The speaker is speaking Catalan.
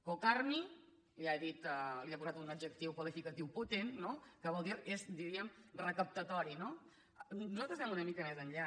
cocarmi que ja li he posat un adjectiu qualificatiu potent no que és diguem ne recaptatori no nosaltres anem una mica més enllà